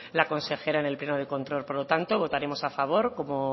la consejera en el pleno de control por lo tanto votaremos a favor como